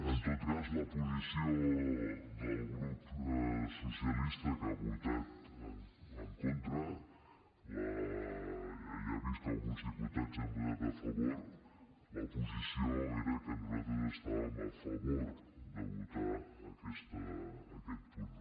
en tot cas la posició del grup socialista que hi ha votat en contra ja ha vist que alguns diputats hi hem votat a favor la posició era que nosaltres estàvem a favor de votar aquest punt